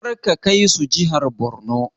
Karka kai su jihar Borno!